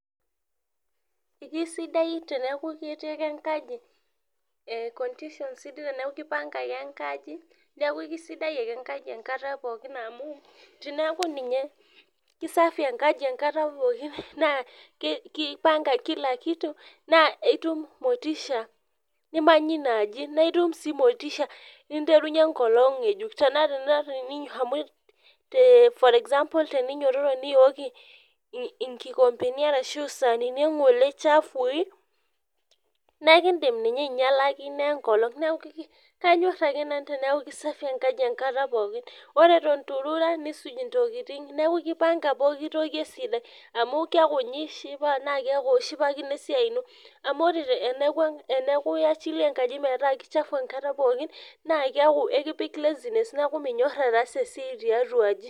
Eji kisidai teneaku ketii ake enkaji eh condition sidai teneaku kipanga ake enkaji neaku isidai ake enkaji enkata pookin amu teneaku ninye kisafi enkaji enkata pookin naa kipanga kila kitu naa itum motisha nimanyie ina aji naa itum sii motisha niterenyue ekolong ngejuk tenaa for example tenidumunye niyooki inkikombeni arashu isainini engole chafui naa ekidim ninye ainyialaki ina ekolong neaku kanyor ake nanu teneaku kisafi enkaji enkata pookin wore eton itu irura nisuj tokin neaku kipanga poki toki esidai amu keaku ninye ishipa neaku ishipakino esiai ino amu wore teneaku iyachilia enkaji metaa chafu enkata pookin naa keaku ekipik laziness neaku minyor aatasa esiai tiatua aji .